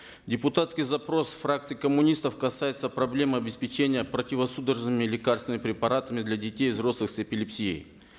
депутатский запрос фракции коммунистов касается проблемы обеспечения противосудорожными лекарственными препаратами для детей и взрослых с эпилепсией